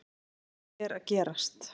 Hvað er að gerast